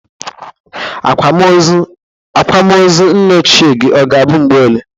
Akwam ọzọ nna ochie gi ọ ga-abụ mgbe ole?